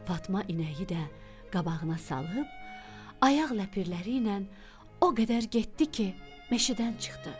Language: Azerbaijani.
Fatma inəyi də qabağına salıb, ayaq ləpirləriylə o qədər getdi ki, meşədən çıxdı.